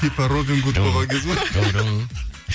типо робингуд болған кез ғой